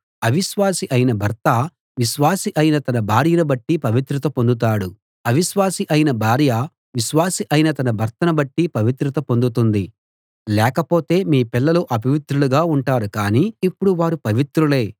అవిశ్వాసి అయిన భర్త విశ్వాసి అయిన తన భార్యను బట్టి పవిత్రత పొందుతాడు అవిశ్వాసి అయిన భార్య విశ్వాసి అయిన తన భర్తను బట్టి పవిత్రత పొందుతుంది లేకపోతే మీ పిల్లలు అపవిత్రులుగా ఉంటారు కాని ఇప్పుడు వారు పవిత్రులే